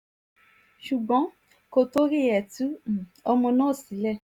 ṣùgbọ́n kò torí ẹ̀ tú um ọmọ náà sílẹ̀